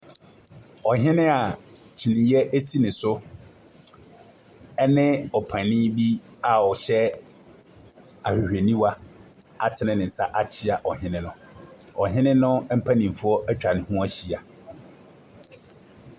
Ɔhene a kyineɛ si ne so ne ɔpanini bi ɔhyɛ ahwehwɛniwa atene ne nsa akyia ɔhene no. Na ɔhene no mpanimfoɔ atwa ne ho ahyia.